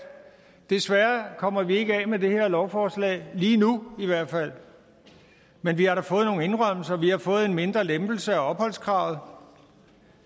desværre kommer vi ikke af med det her lovforslag lige nu men vi har da fået nogle indrømmelser vi har fået en mindre lempelse af opholdskravet